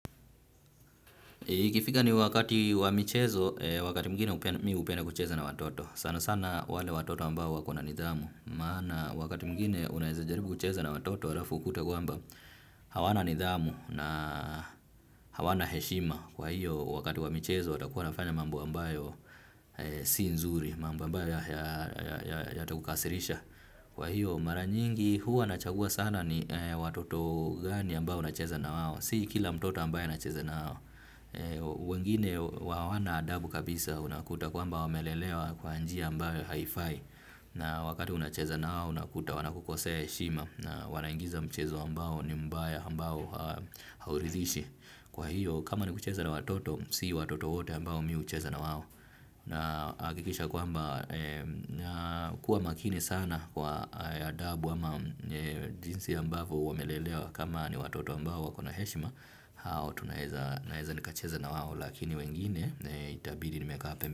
Ikifika ni wakati wa michezo, wakati mwingine mi hupenda kucheza na watoto, sana sana wale watoto ambao wako na nidhamu, maana wakati mwingine unaezajaribu kucheza na watoto alafu ukute kwamba hawana nidhamu na hawana heshima, kwa hiyo wakati wa michezo watakuwa wanafanya mambo ambayo si nzuri, mambo ambayo yatakukasirisha. Kwa hiyo mara nyingi huwa nachagua sana ni watoto gani ambao nacheza na wao. Si kila mtoto ambaye nacheza na wao. Wengine hawana adabu kabisa unakuta kwamba wamelelewa kwa njia ambayo haifai. Na wakati unacheza na wao unakuta wanakukosea heshima. Na wanaingiza mchezo ambao ni mbaya ambao hauridhishi. Kwa hiyo kama ni kucheza na watoto si watoto wote ambao mi hucheza na wao. Nahakikisha kwamba nakuwa makini sana kwa adabu ama jinsi ambavu wamelelewa kama ni watoto ambao wako na heshima. Hao tunaeza nikacheza na wao lakini wengine itabidi nimekaa.